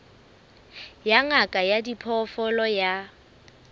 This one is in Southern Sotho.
ya ngaka ya diphoofolo ya